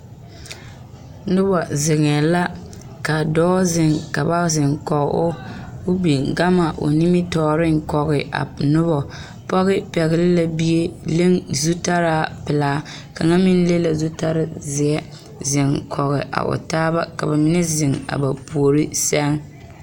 Noba zeŋee la ka dɔɔ zeŋ ka ba zeŋ koge o ko o biŋ gama o nimitɔɔreŋ koge a noba pɔge pɛgele la bie leŋ zutarra pelaa kaŋa meŋ leŋ la zutarre zeɛ zeŋ koge a o taa ka ba mine zeŋ a ba puori seŋ